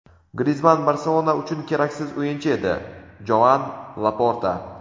Grizmann "Barselona" uchun keraksiz o‘yinchi edi – Joan Laporta.